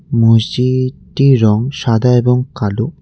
মসজিদটির রং সাদা এবং কালো।